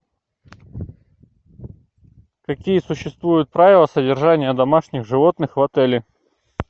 какие существуют правила содержания домашних животных в отеле